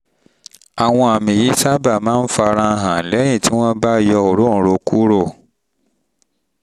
àwọn àmì yìí sábà máa ń fara hàn lẹ́yìn tí hàn lẹ́yìn tí wọ́n bá yọ òróǹro kúrò